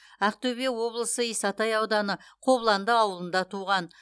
ақтөбе облысы исатай ауданы қобыланды ауылында туған